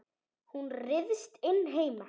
Hún ryðst inn heima.